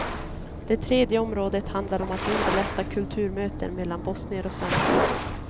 Det tredje området handlar om att underlätta kulturmöten mellan bosnier och svenskar.